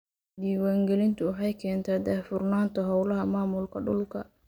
Diiwaangelintu waxay keentaa daahfurnaanta hawlaha maamulka dhulka.